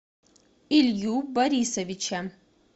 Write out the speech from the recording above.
илью борисовича